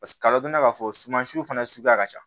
kalo dunna k'a fɔ sumansiw fana suguya ka ca